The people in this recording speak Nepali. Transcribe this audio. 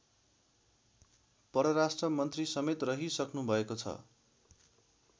परराष्ट्रमन्त्री समेत रहिसक्नुभएको छ